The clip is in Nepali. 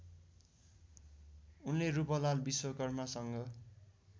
उनले रूपलाल विश्वकर्मासँग